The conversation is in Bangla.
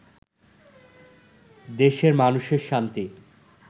দেশের মানুষের শান্তি